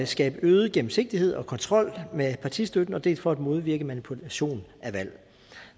skabe øget gennemsigtighed og kontrol med partistøtten dels for at modvirke manipulation af valg